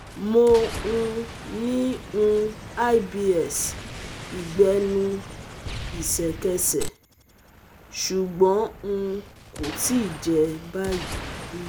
Mo um ní um IBS Ìgbẹ́nu ìṣẹ̀kẹ̀sẹ̀, ṣùgbọ́n um kò tíì jẹ́ báyìí rí